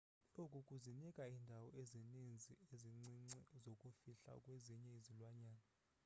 oku kuzinika iindawo ezininzi ezincinci zokuzifihla kwezinye izilwanyana